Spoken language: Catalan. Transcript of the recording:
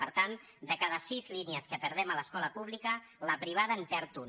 per tant de cada sis línies que perdem a l’escola pública la privada en perd una